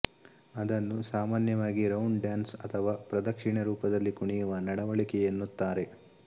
ಅದನ್ನು ಸಾಮಾನ್ಯವಾಗಿ round dance ಅಥವಾ ಪ್ರದಕ್ಷಿಣೆ ರೂಪದಲ್ಲಿ ಕುಣಿಯುವ ನಡವಳಿಕೆ ಎನ್ನುತ್ತಾರೆ